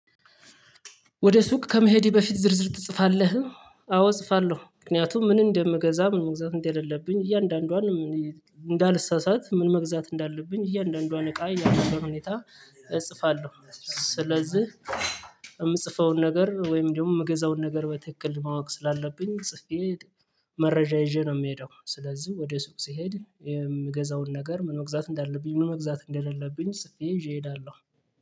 ወደ ሱቅ ከመሄድ በፊት ዝርዝር ትጽፋለህ? አዎ እጽፋለሁ። ምክንያቱም ምን እንደምገዛ ምን መግዛት እንደሌለብኝ እያንዳንዷን እንዳልሳሳት ምን መግዛት እንዳለብኝ እያንዳንዷን እቃ ያለበት ሁኔታ እጽፋለሁ። ስለዚህ የምጽፈውን ነገር ወይም ደግሞ የምገዛውን ነገር በትክክል ማወቅ ስላለብኝ ጽፌ መረጃ ይዤ ነው የምሄደው። ስለዚህ ወደ ሱቅ ስሄድ የምገዛውን ነገር ምን መግዛት እንዳለብኝ ምን መግዛት እንደሌለብኝ ጽፌ እየሄዳለሁ።